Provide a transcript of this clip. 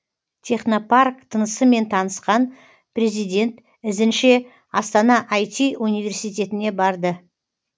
технопарк тынысымен танысқан президент ізінше астана ай ти университетіне барды